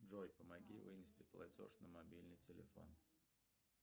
джой помоги вынести платеж на мобильный телефон